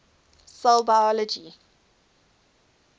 cell biology